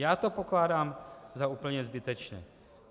Já to pokládám za úplně zbytečné.